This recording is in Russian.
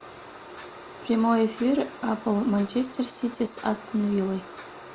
прямой эфир апл манчестер сити с астон виллой